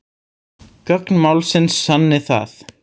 Gögn málsins sanni það